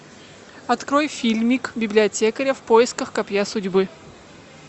открой фильмик библиотекаря в поисках копья судьбы